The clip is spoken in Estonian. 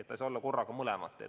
Ta ei saa olla korraga mõlemat.